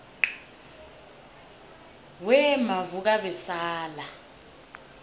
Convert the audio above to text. wemavukabesala